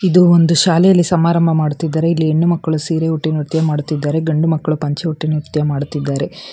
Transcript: ಇದು ಒಂದು ಶಾಲೆಯಲ್ಲಿ ಸಮಾರಂಭ ಮಾಡುತ್ತಿದ್ದಾರೆ ಇಲ್ಲಿ ಹೆಣ್ಣು ಮಕ್ಕಳು ಸೀರೆ ಉಟ್ಟಿ ನೃತ್ಯ ಮಾಡುತ್ತಿದ್ದಾರೆ ಗಂಡು ಮಕ್ಕಳು ಪಂಚೆ ಉಟ್ಟಿ ನೃತ್ಯ ಮಾಡುತ್ತಿದ್ದಾರೆ.